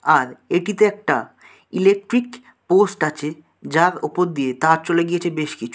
আর এটিতে একটা electric post আছে যার ওপর দিয়ে তার চলে গিয়েছে বেশ কিছু।